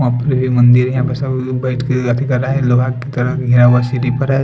वहा पर एक मंदिर है यहाँ पे सभी लोग बेठ के लोहा की तरह --